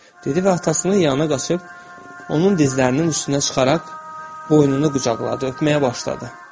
Dedi və atasının yanına qaçıb onun dizlərinin üstünə çıxaraq boynunu qucaqladı, öpməyə başladı.